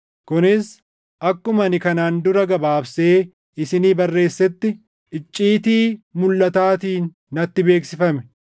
kunis akkuma ani kanaan dura gabaabsee isinii barreessetti icciitii mulʼataatiin natti beeksifame.